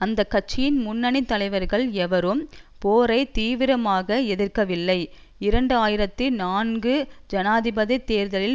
அந்த கட்சியின் முன்னனி தலைவர்கள் எவரும் போரை தீவிரமாக எதிர்க்கவில்லை இரண்டு ஆயிரத்தி நான்கு ஜனாதிபதி தேர்தலில்